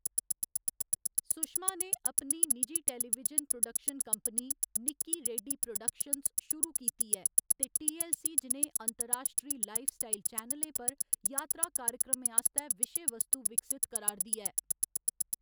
सुशमा ने अपनी निजी television production company, Nikki Reddy productions शुरू कीती ऐ ते टी.ऐल्ल.सी. जनेह् अंतर्राश्ट्री लाइफस्टाइल चैनलें पर यात्रा कार्यक्रमें आस्तै विशे वस्तु विकसत करा'रदी ऐ।